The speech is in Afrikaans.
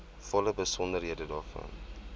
volle besonderhede daarvan